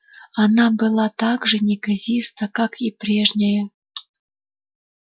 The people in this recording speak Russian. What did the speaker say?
она была так же неказиста как и прежняя